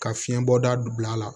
Ka fiɲɛbɔ dabila la